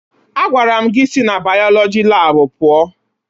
Agwara m gị si na bayọlọjị laabụ pụọ!